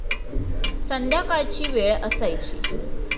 संध्याकाळची वेळ असायची.